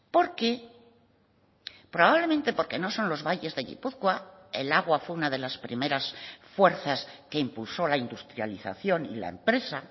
porque probablemente porque no son los valles de gipuzkoa el agua fue una de las primeras fuerzas que impulsó la industrialización y la empresa